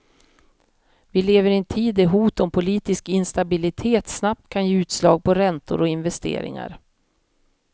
Vi lever i en tid där hot om politisk instabilitet snabbt kan ge utslag på räntor och investeringar.